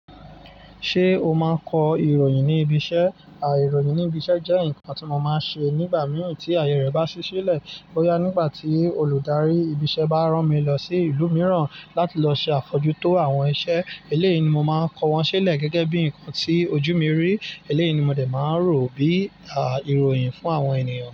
Ṣé o máa kọ ìròyìn ní ibi iṣẹ́? Àà, ìròyìn ní ibi iṣẹ́ jẹ́ ǹkan tí mo máa ń ṣe nígbà mìí tí ayé rẹ̀ bá sí sílẹ̀. Boyá nígbà tí olùdarí ibi iṣẹ́ bá rán mi lọ sí ìlú mìíràn láti lọ ṣe àfọjú tó àwọn iṣẹ́ eléyi ni, mo máa kọ wọ́n sílẹ̀ gẹ́gẹ́ bí ǹkan tí ojú mi rí. Eléèyi ni, mo dẹ̀ máa n rò ó bí, àà, ìròyìn fún àwọn ènìyàn.